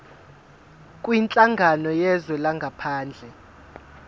kwinhlangano yezwe langaphandle